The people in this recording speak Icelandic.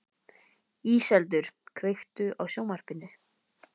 Íseldur, kveiktu á sjónvarpinu.